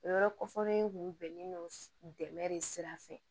O yɔrɔ kɔfɔlen kun bɛnnen don dɛmɛ de sira fɛ